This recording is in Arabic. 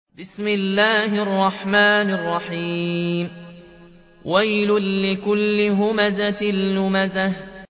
وَيْلٌ لِّكُلِّ هُمَزَةٍ لُّمَزَةٍ